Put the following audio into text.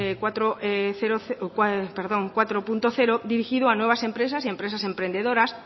bin cuatro punto cero dirigido a nuevas empresas y a empresas emprendedoras